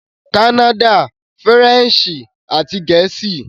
Kánnádà - Faransé àti Gẹ̀ẹ́sì